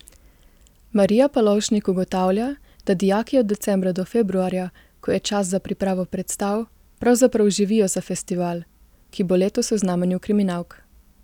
Marija Palovšnik ugotavlja, da dijaki od decembra do februarja, ko je čas za pripravo predstav, pravzaprav živijo za festival, ki bo letos v znamenju kriminalk.